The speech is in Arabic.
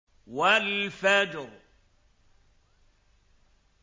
وَالْفَجْرِ